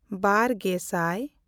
ᱵᱟᱨᱼᱜᱮᱥᱟᱭ